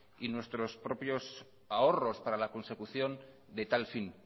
y nuestros propios ahorros para la consecución de tal fin